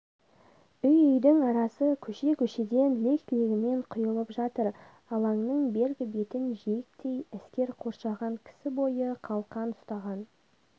үй-үйдің арасы көше-көшеден лек-легімен құйылып жатыр алаңның бергі бетін жиектей әскер қоршаған кісі бойы қалқан ұстаған